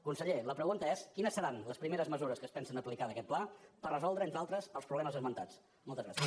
conseller la pregunta és quines seran les primeres mesures que es pensen aplicar d’aquest pla per resoldre entre altres els problemes esmentats moltes gràcies